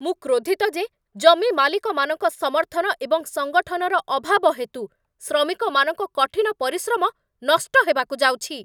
ମୁଁ କ୍ରୋଧିତ ଯେ ଜମି ମାଲିକମାନଙ୍କ ସମର୍ଥନ ଏବଂ ସଙ୍ଗଠନର ଅଭାବ ହେତୁ ଶ୍ରମିକମାନଙ୍କ କଠିନ ପରିଶ୍ରମ ନଷ୍ଟ ହେବାକୁ ଯାଉଛି।